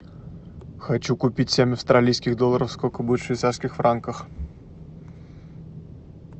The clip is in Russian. хочу купить семь австралийских долларов сколько будет в швейцарских франках